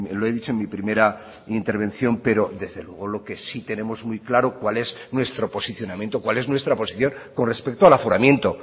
lo he dicho en mi primera intervención pero desde luego lo que sí tenemos muy claro cuál es nuestro posicionamiento cuál es nuestra posición con respecto al aforamiento